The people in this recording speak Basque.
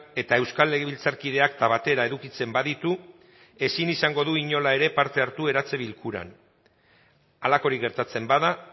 eta euskal legebiltzarkide akta batera edukitzen baditu ezin izango du inola ere parte hartu eratze bilkuran halakorik gertatzen bada